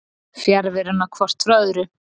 fjarveruna hvort frá öðru